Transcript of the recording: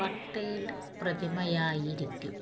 Patel പ്രതിമയായിരിക്കും